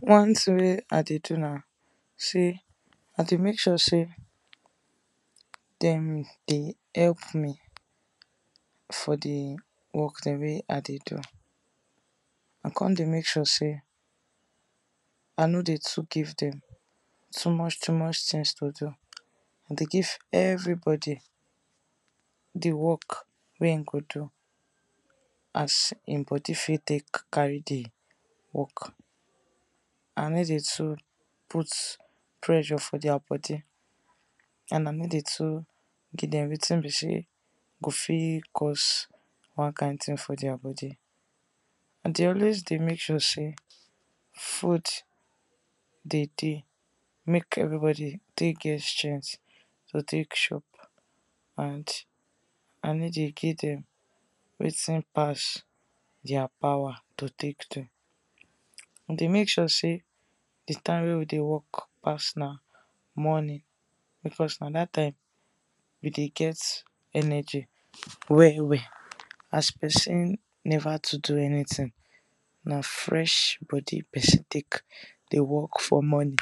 One thing wey I dey do na sey, I dey make sure sey dem dey help for di work dem wey I dey do, I come dey make sure sey I no dey give dem too much too much things to do. I dey give everybody di work wen im go do as im body fit take carry di work, I no dey put pressure for their body and I no dey do dem wetin be sey go fit cause one kind thing for their body. I dey always dey make sure sey food dey deey make everybody take get di strength to take chop and I no dey give dem wetin pass their power to take do. I dey make sure sey di time wey we dey work pass na morning because na dat time we dey get energy well well as person never too do anything na fresh body person take dey work for morning.